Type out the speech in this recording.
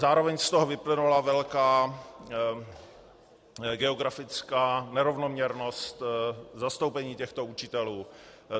Zároveň z toho vyplynula velká geografická nerovnoměrnost zastoupení těchto učitelů.